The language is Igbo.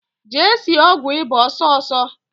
Jee sie ọgwụ ịba ọsọọsọ!